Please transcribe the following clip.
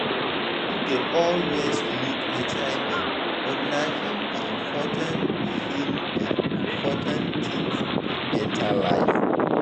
people dey always over look hivbut na hin be important hin be important thing for better life